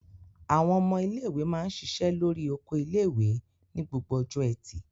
Àwọn ọmọ ilé-ìwé máa ń ṣiṣẹ́ lórí oko ilé-ìwé ní gbogbo ọjọ́ ẹtì.